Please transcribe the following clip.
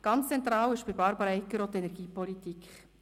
Ganz zentral war für Barbara Egger auch die Energiepolitik.